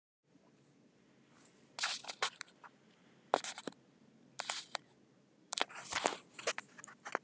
Rýmið sem fitu- og vöðvavefir taka fer eftir samsetningu líkama hvers einstaklings.